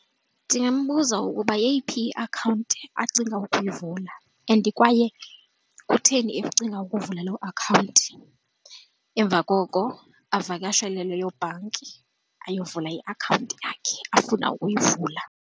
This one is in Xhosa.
Ndingambuza ukuba yeyiphi iakhawunti acinga ukuyivula and kwaye kutheni ecinga ukuvula loo akhawunti. Emva koko evakashele leyo bhanki ayovula iakhawunti yakhe afuna ukuyivula.